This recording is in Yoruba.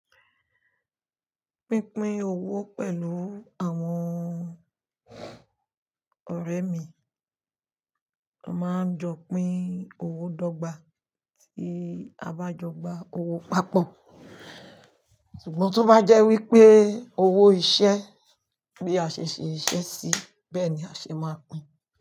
Pínpín owó pẹ̀lú àwọn ọ̀rẹ́ mi, a máa ń jọ pín owó dọ́gba tí a bá jọ gba owó papọ̀. Ṣùgbọ́n tó bá jẹ́ wípé owó iṣẹ́ bí a ṣe ṣe iṣẹ́ sí, bẹ́ẹ̀ ni a ṣe máa pín.